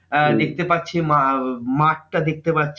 আহ দেখতে পাচ্ছে মা ম~মাঠটা দেখতে পাচ্ছে না।